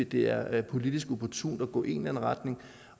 det er er politisk opportunt at gå i en retning